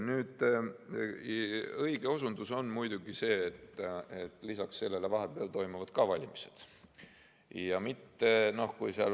Õige on muidugi see, et lisaks sellele toimuvad vahepeal valimised.